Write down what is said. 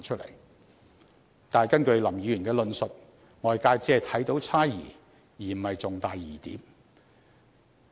然而，根據林議員的論述，外界只看到猜疑而不是重大的疑點。